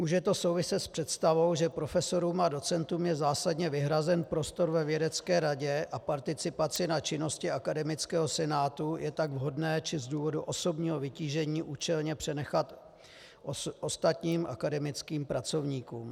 Může to souviset s představou, že profesorům a docentům je zásadně vyhrazen prostor ve vědecké radě a participaci na činnosti akademického senátu je tak vhodné či z důvodu osobního vytížení účelné přenechat ostatním akademickým pracovníkům.